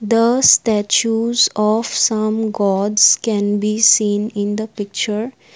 the statues of some gods can be seen in the picture.